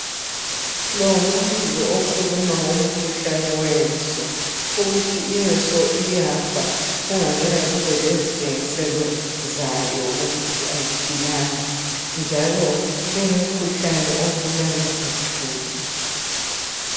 Lo ngumbuzo okhuluma ngomkhuhlane wenso ukuthi inso iyafa kungazange kube lezitshengiselo zayo ukuthi ayiphilanga njalo ingumkhuhlane obulala uthuli